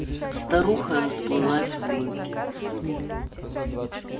старуха расплылась в улыбке